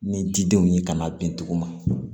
Ni didenw ye ka n'a bin duguma